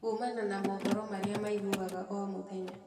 Kuumana na mohoro marĩa maiguaga omũthenya.